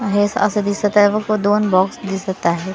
हे असं दिसत आहे फक्त दोन बॉक्स दिसत आहेत .